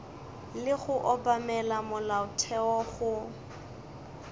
le go obamela molaotheo go